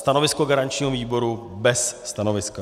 Stanovisko garančního výboru - bez stanoviska.